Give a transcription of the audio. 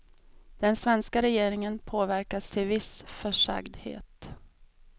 Den svenska regeringen påverkas till viss försagdhet.